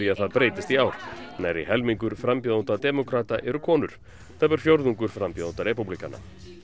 að það breytist í ár nærri helmingur frambjóðenda demókrata eru konur tæpur fjórðungur frambjóðenda repúblikana